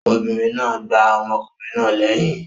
Obìnrin náà gbá ọmọkùnrin náà lẹyìn.